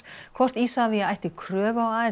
hvort Isavia ætti kröfu á